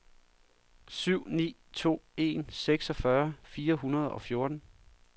syv ni to en seksogfyrre fire hundrede og fjorten